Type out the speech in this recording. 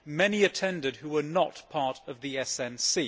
Many attended who were not part of the SNC.